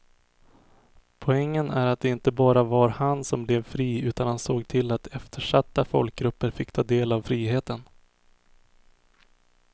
Poängen är att det inte bara var han som blev fri utan han såg till att eftersatta folkgrupper fick ta del av friheten.